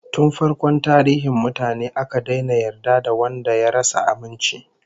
Tun farkon tarihin mutane, aka daina yarda da wanda ya rasa aminci